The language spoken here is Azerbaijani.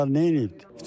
Bunlar nə edib?